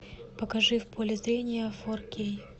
покажи в поле зрения фор кей